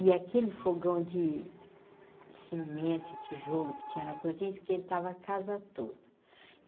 E aquele fogão de cimento e tijolo que tinha na cozinha, esquentava a casa toda.